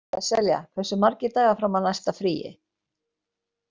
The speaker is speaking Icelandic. Sesselja, hversu margir dagar fram að næsta fríi?